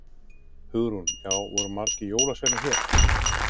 Hugrún: Já, voru margir jólasveinar hér?